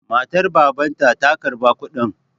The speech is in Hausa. Matar Babanta ta karba kuɗin.